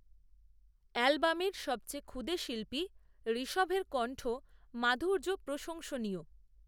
অ্যালবামের সবচেয়ে ক্ষুদে শিল্পী, ঋষভএর কন্ঠ মাধুর্য প্রশংসনীয়